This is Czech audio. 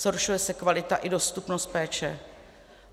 Zhoršuje se kvalita i dostupnost péče.